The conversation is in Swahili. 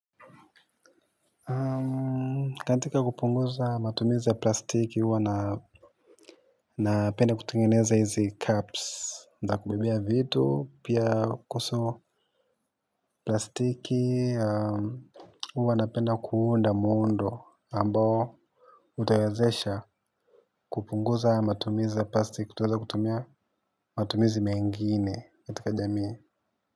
Katika kupunguza matumizi ya plastiki huwa napenda kutungeneza hizi caps za kubebea vitu pia kuhuso, plastiki huwa napenda kuunda mundo ambao utawazesha kupunguza matumizi ya plastiki tunaweza kutumia matumizi mengine katika jamii.